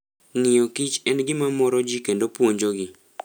Ng'iyo Kich en gima moro ji kendo opuonjogi.